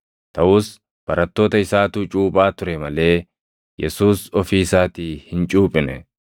taʼus barattoota isaatu cuuphaa ture malee Yesuus ofii isaatii hin cuuphine.